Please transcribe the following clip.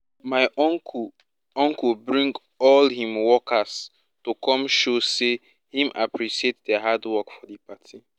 my uncle uncle bring all him workers to come show say him appreciate dia hard work for di party